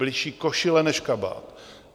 Bližší košile než kabát.